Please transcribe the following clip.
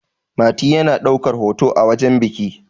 mati yana daukar hoto a wajen biki